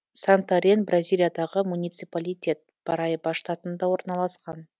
сантарен бразилиядағы муниципалитет параиба штатында орналасқан